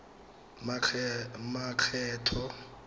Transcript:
makgetho